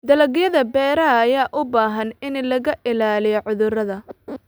Dalagyada beeraha ayaa u baahan in laga ilaaliyo cudurrada.